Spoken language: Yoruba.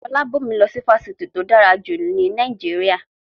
Fọlábọ̀mí lọ sí ifásitì tí ó dára jù ní Nàìjíríà